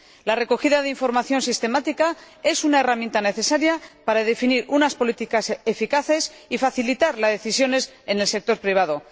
La recogida de información sistemática es una herramienta necesaria para definir unas políticas eficaces y facilitar las decisiones en el sector privado.